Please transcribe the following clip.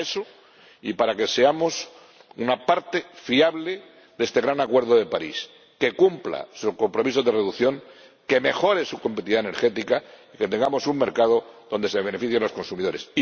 Para eso y para que seamos una parte fiable de este gran acuerdo de París que cumpla su compromiso de reducción, que mejore su competitividad energética y que tenga un mercado donde se beneficien los consumidores.